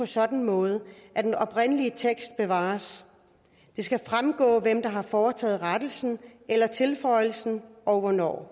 sådan måde at den oprindelige tekst bevares det skal fremgå hvem der har foretaget rettelsen eller tilføjelsen og hvornår